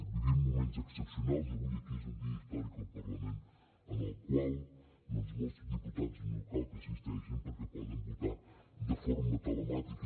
vivim moments excepcionals i avui aquí és un dia històric al parlament en el qual doncs molts diputats no cal que assisteixin perquè poden votar de forma telemàtica